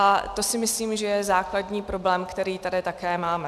A to si myslím, že je základní problém, který tady také máme.